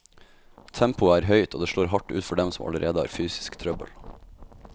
Tempoet er høyt, og det slår hardt ut for dem som allerede har fysisk trøbbel.